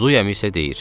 Zuymi isə deyir: